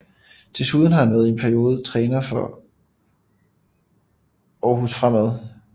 Desuden har en i en periode været træner for Aarhus Fremad